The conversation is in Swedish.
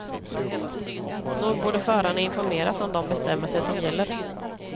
Nog borde förarna informeras om de bestämmelser som gäller.